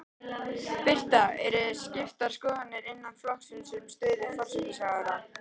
Birta: Eru skiptar skoðanir innan flokksins um stöðu forsætisráðherra?